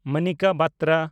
Monika ᱵᱟᱛᱨᱟ